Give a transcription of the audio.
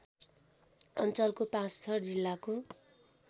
अञ्चलको पाँचथर जिल्लाको